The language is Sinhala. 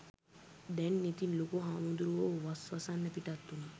දැන් ඉතින් ලොකු හාමුදුරුවෝ වස් වසන්න පිටත් වුනා